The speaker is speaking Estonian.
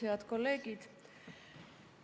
Head kolleegid!